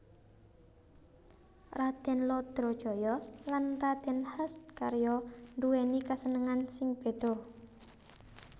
Radèn Lodrojoyo lan Radèn Hascaryo nduwèni kasenengan sing béda